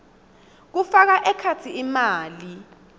kufaka ekhatsi imali